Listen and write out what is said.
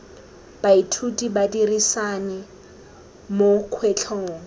baithuti ba dirisane mo kgwetlhong